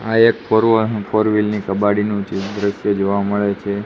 આ એક ફોરવાનું ફોર વ્હીલ ની કબાડીનુ જે દ્રશ્ય જોવા મડે છે.